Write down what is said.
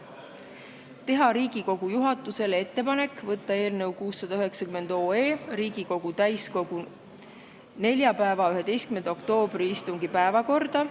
Esiteks, teha Riigikogu juhatusele ettepanek saata eelnõu 690 Riigikogu täiskogu neljapäeva, 11. oktoobri istungi päevakorda.